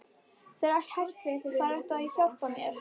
Þeir ættu að geta hjálpað þér.